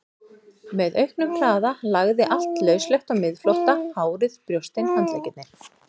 Með auknum hraða lagði allt lauslegt á miðflótta, hárið, brjóstin, handleggirnir.